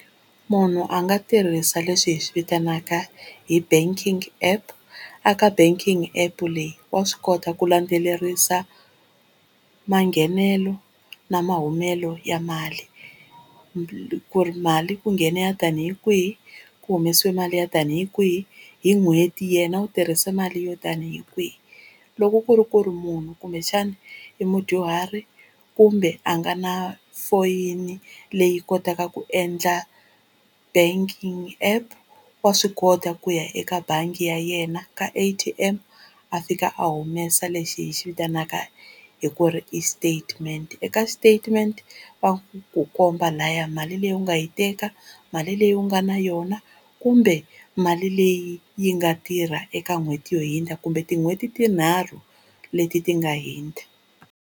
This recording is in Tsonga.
Munhu a nga tirhisa leswi hi swi vitanaka hi banking app, a ka banking app leyi wa swi kota ku landzelerisa manghenelo na mahumelo ya mali ku ri mali ku nghene yo tani hi kwini, ku humesiwe mali yo tani hi kwini hi n'hweti yena u tirhise mali yo tani hi kwini. Loko ku ri ku ri munhu kumbexana i mudyuhari kumbe a nga na foyini leyi kotaka ku endla banking app, wa swi kota ku ya eka bangi ya yena ka A_T_M a fika a humesa lexi hi xi vitanaka hi ku ri i statement. Eka statement va ku komba layani mali leyi u nga yi teka, mali leyi u nga na yona kumbe mali leyi yi nga tirha eka n'hweti yo hindza kumbe tin'hweti tinharhu leti ti nga hundza.